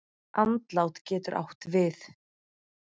Andlát getur átt við